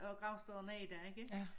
Og gravstederne er der ikke